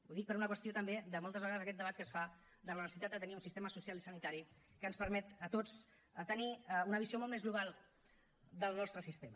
ho dic per una qüestió també de moltes vegades aquest debat que es fa de la necessitat de tenir un sistema social i sanitari que ens permet a tots tenir una visió molt més global del nostre sistema